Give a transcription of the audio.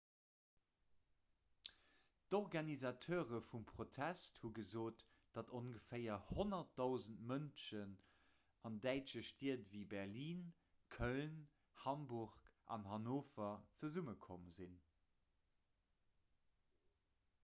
d'organisateure vum protest hu gesot datt ongeféier 100 000 mënschen an däitsche stied ewéi berlin köln hamburg an hannover zesummekomm sinn